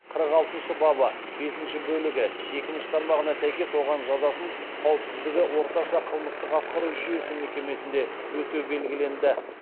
қырық алтыншы бабы бесінші бөлігі екінші тармағына сәйкес оған жазасын қауіпсіздігі орташа қылмыстық атқару жүйесі мекемесінде өтеу белгіленді